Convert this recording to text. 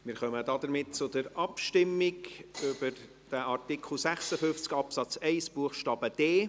Wir kommen damit zur Abstimmung über Artikel 56 Absatz 1 Buchstabe d.